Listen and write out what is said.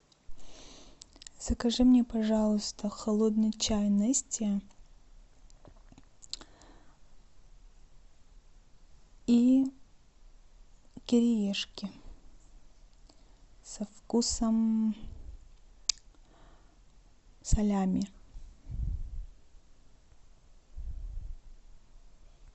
закажи мне пожалуйста холодный чай нести и кириешки со вкусом салями